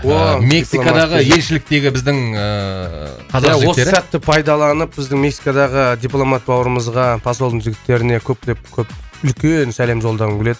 мексикадағы елшіліктегі біздің ііі қазақ жігіттері осы сәтті пайдаланып біздің мексикадағы дипломат бауырымызға посолдың жігіттеріне көптеп көп үлкен сәлем жолдағым келеді